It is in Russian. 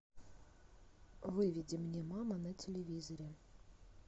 выведи мне мама на телевизоре